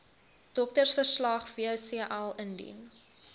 doktersverslag wcl indien